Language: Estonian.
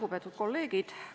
Lugupeetud kolleegid!